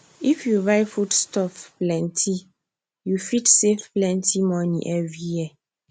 if you buy foodstuff plenty you fit save plenty money every year